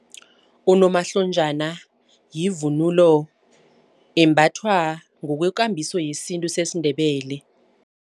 Unomahlonjana yivunulo embathwa ngokwekambiso yesintu sesiNdebele.